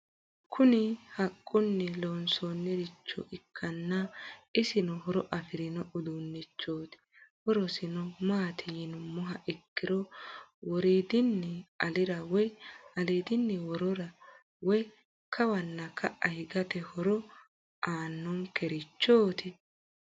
Kuni haqquni loonsonricho ikaana isino horo afirino udunichoti hoorosino maati yinumoha ikiro woridinni alira woy alidin worora woyi kawana ka'a higate hooro aanonkerichot?